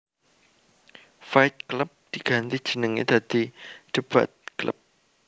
Fight Club diganti jenenge dadi Debate Club